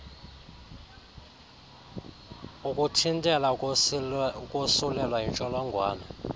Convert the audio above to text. ukuthintela ukosulelwa yintsholongwane